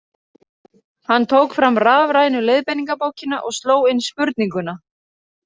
Hann tók fram rafrænu leiðbeiningabókina og sló inn spurninguna;